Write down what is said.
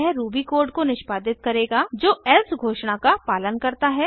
यह Ruby code को निष्पादित करेगा जो एल्से घोषणा का पालन करता है